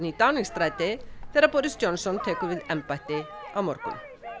í Downing stræti þegar Boris Johnson tekur við embætti á morgun